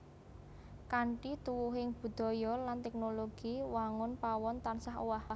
Kanthi tuwuhing budaya lan teknologi wangun pawon tansah owah